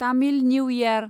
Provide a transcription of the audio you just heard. Tamil new year